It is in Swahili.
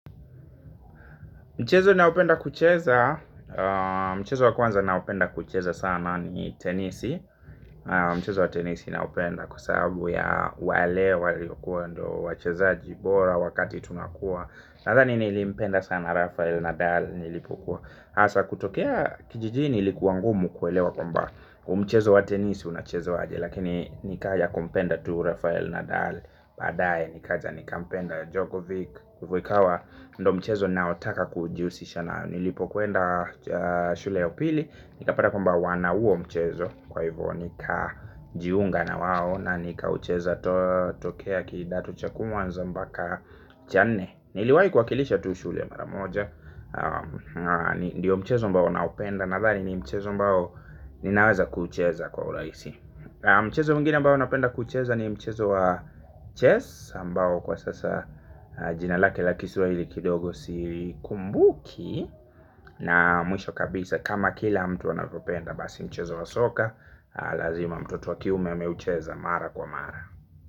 Mchezo naopenda kucheza. Mchezo wa kwanza naopenda kucheza sana ni tenisi. Mchezo wa tenisi naopenda kwa sababu ya wale waliokuwa ndo wachezaji bora wakati tunakua. Nathani nilipenda sana Rafael Nadal nilipokuwa hasa kutokea kijijini ilikuwa ngumu kuelewa kumba huu mchezo wa tenisi unachezwaje. Lakini nika ya kumpenda tu Rafael Nadal. Padaye nikaja nikampenda Djokovic Kukwikawa ndo mchezo naotaka kujiusisha na nilipokwenda shule ya upili nikapata kwamba wana uo mchezo. Kwa hivyo nikajiunga na wao na nikaucheza tokea kidato cha kwanza mpaka cha nne. Niliwai kuwakilisha tu shule maramoja. Ndiyo mchezo ambao naupenda nathani ni mchezo ambao ninaweza kucheza kwa ulaisi. Mchezo mwingine ambao naopenda kucheza ni mchezo wa chess ambao kwa sasa jina lake la kiswaili kidogo si kumbuki. Na mwisho kabisa kama kila mtu anavyopenda basi mchezo wa soka. Lazima mtoto wa kiume ameucheza mara kwa mara.